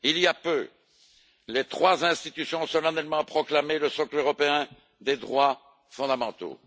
Il y a peu, les trois institutions ont solennellement proclamé le socle européen des droits fondamentaux.